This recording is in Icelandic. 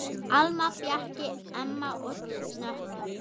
Alma, Bjarki, Emma og Nökkvi.